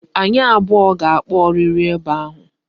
Anyị abụọ ga-akpa ọrịrị ebe ahụ